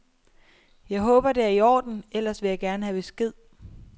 Jeg håber det er i orden, ellers vil jeg gerne have besked.